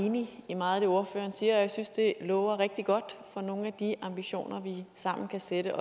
enig i meget af det ordføreren siger og jeg synes at det lover rigtig godt for nogle af de ambitioner vi sammen kan sætte